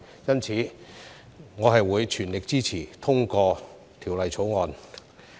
因此，我會全力支持通過《條例草案》。